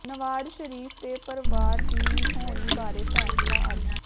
ਨਵਾਜ਼ ਸ਼ਰੀਫ ਤੇ ਪਰਵਾਰ ਦੀ ਹੋਣੀ ਬਾਰੇ ਫੈਸਲਾ ਅੱਜ